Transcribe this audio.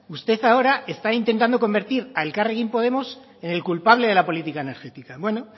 usted ahora está intentando convertir a elkarrekin podemos en el culpable de la política energética bueno